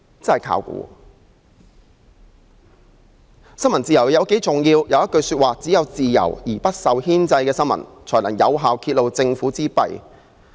大法官休戈.布萊克曾說："只有自由而不受牽制的新聞，才能有效揭露政府之弊。